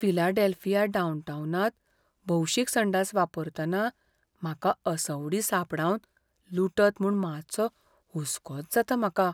Philadelphia डाउनटाऊनांत भौशीक संडास वापरतना म्हाका असवडीं सांपडावन लुटत म्हूण मातसो हुसकोच जाता म्हाका.